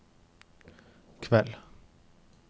kveld